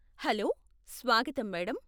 Hello, స్వాగతం madam.